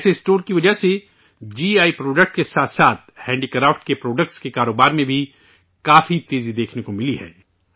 ایسے اسٹور کی وجہ سے جی آئی پروڈکٹ کے ساتھ ساتھ ہینڈی کرافٹ کے پروڈکٹ کی فروخت میں کافی تیزی دیکھنے کو ملی ہے